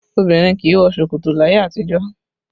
Obìnrin kì í wọ ṣòkòtò láyé àtijọ́